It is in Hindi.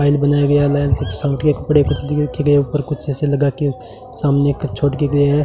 फाइल बनाया गया है कुछ के कपड़े कुछ दि रखे गए कुछ ऊपर कुछ जैसे लगा के सामने क छोड़ के गया है।